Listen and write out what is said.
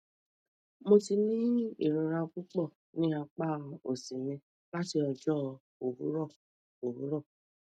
mo ti ni irora pupọ ni apa osi mi lati ọjọ owurọ owurọ